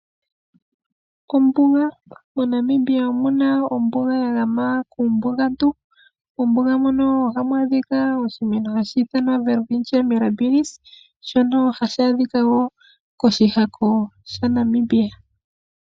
MoNamibia omuna ombuga yagama kuumbugantu, hamu adhika oshimeno shoWelwitschia birnabis shono hashi adhika woo koshihako shaNamibia.